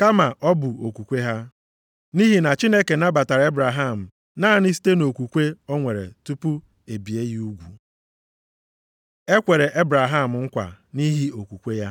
kama ọ bụ okwukwe ha. Nʼihi na Chineke nabatara Ebraham naanị site nʼokwukwe o nwere tupu e bie ya ugwu. E kwere Ebraham nkwa nʼihi okwukwe ya